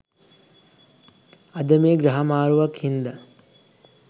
අද මේ ග්‍රහ මාරුවක්‌ හින්දා